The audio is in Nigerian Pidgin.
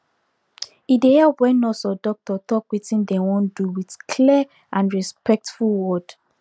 e dey help when nurse or doctor talk wetin dem wan do with clear and respectful word